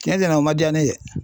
Cɛn cɛnna o man jaa ne ye.